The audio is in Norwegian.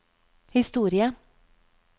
historie